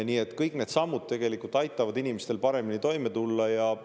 Nii et kõik need sammud tegelikult aitavad inimestel paremini toime tulla.